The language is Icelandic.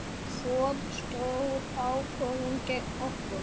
Fór stór ákvörðun gegn okkur?